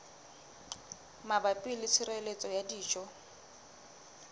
mabapi le tshireletso ya dijo